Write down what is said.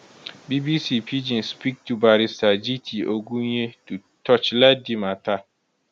bbc pidgin speak to barrister jiti ogunye to torchlight di mata